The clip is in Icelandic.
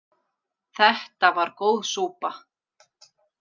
Þetta var góð súpa.